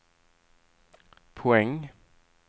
poäng